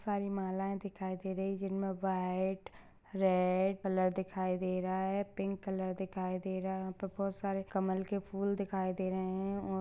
सारी मालाए दिखाई दे रही जिनमे व्हाइट रेड कलर दिखाई दे रहा है पिंक कलर दिखाई दे रहा है यहाँ पे बहुत सारे कमल के फूल दिखाई दे रहे है और--